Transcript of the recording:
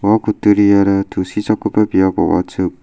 ua kutturiara tusichakgipa biap ong·achim.